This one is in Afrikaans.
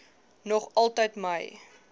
nog altyd my